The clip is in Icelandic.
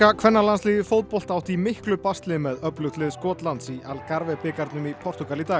kvennalandsliðið í fótbolta átti í miklu basli með öflugt lið Skotlands í bikarnum í Portúgal í dag